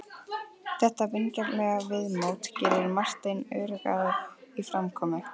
Þetta vingjarnlega viðmót gerði Martein öruggari í framkomu.